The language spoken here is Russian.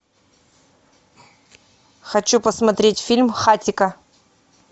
хочу посмотреть фильм хатико